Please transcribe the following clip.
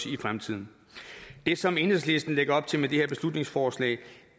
i fremtiden det som enhedslisten lægger op til med det her beslutningsforslag